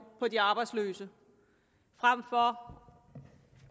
på de arbejdsløse frem for